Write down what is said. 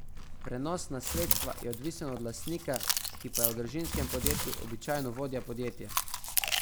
Prenos nasledstva je odvisen od lastnika, ki pa je v družinskem podjetju običajno vodja podjetja.